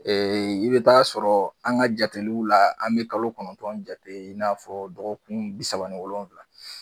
I bɛ t'a sɔrɔ an ka jateliw la an bi kalo kɔnɔntɔn jate i n'a fɔ dɔgɔkun bi saba ni wolonwula